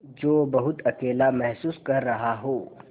जो बहुत अकेला महसूस कर रहा हो